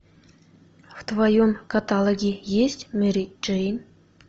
в твоем каталоге есть мэри джейн